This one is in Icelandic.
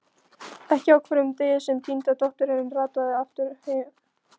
Ekki á hverjum degi sem týnda dóttirin rataði aftur heim.